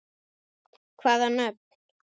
Hvaða nöfn?